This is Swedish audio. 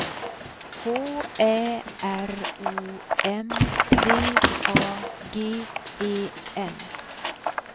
H Ä R O M D A G E N